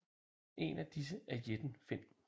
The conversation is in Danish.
En af disse er Jætten Finn